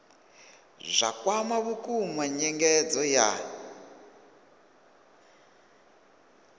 zwa kwama vhukuma nyengedzo ya